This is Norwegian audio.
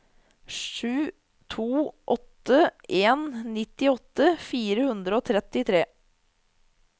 sju to åtte en nittiåtte fire hundre og trettitre